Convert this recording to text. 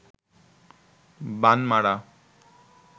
বান মারা